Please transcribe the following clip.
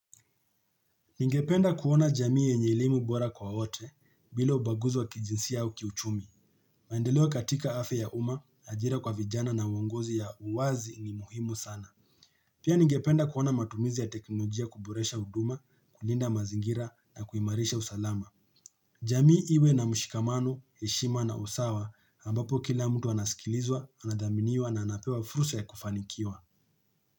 Ningependa kuona jamii yenye elimu bora kwa wote bila ubaguzi wa kijinsia au kiuchumi. Maendeleo katika afya ya umma, ajira kwa vijana na uongozi ya uwazi ni muhimu sana. Pia ningependa kuona matumizi ya teknolojia kuboresha huduma, kulinda mazingira na kuimarisha usalama. Jamii iwe na mshikamano, heshima na usawa ambapo kila mtu anasikilizwa, anadhaminiwa na anapewa fursa ya kufanikiwa.